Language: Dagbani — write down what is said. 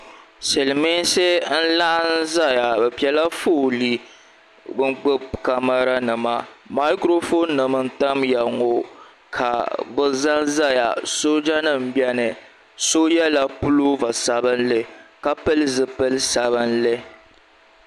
Silimiinsi n laɣim zaya bɛ piɛla foolii n gbibi kamara nima makuro fooni nima n tamya ŋɔ ka bɛ zanzaya sooja nima m biɛni doo yela puloova sabinli ka pili zipil'sabinli.